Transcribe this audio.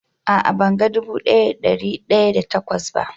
A'a, ban gan dubu daya da da dari daya da takwas ba.